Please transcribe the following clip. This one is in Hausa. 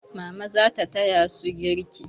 Mama za ta taya su girki.